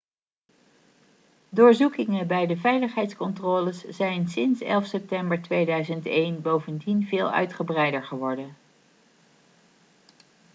doorzoekingen bij de veiligheidscontroles zijn sinds 11 september 2001 bovendien veel uitgebreider geworden